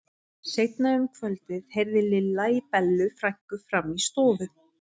Seinna um kvöldið heyrði Lilla í Bellu frænku frammi í stofu.